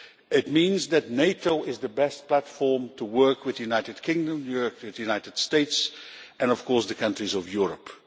It means that NATO is the best platform for working with the United Kingdom, the United States and, of course, the countries of Europe.